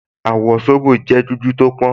Àwọ̀ zobo jẹ́ dúdú tó pọ́n